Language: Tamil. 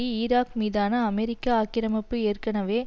ஈராக் மீதான அமெரிக்க ஆக்கிரமிப்பு ஏற்கனவே